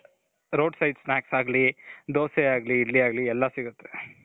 road side snacks ಆಗ್ಲಿ , ದೋಸೆ ಆಗ್ಲಿ , ಇಡ್ಲಿ ಆಗ್ಲಿ ಎಲ್ಲಾ ಸಿಗುತ್ತೆ.